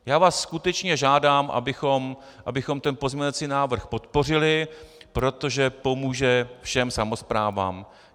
Já vás skutečně žádám, abychom ten pozměňovací návrh podpořili, protože pomůže všem samosprávám.